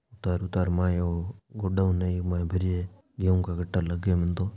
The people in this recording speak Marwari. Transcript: उतार उतार माय ओ गोडावन है इक माय भरी है गेहू का कट्टा लागे मन तो।